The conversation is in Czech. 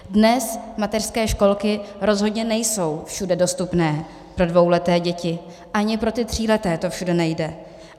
Dnes mateřské školky rozhodně nejsou všude dostupné pro dvouleté děti, ani pro ty tříleté to všude nejde.